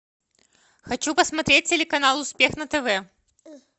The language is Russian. хочу посмотреть телеканал успех на тв